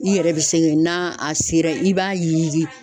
I yɛrɛ bɛ sɛgɛn na a sera i b'a ye.